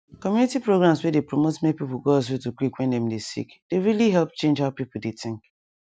community programs wey dey promote make people go hospital quick when dem dey sick dey really help change how people dey think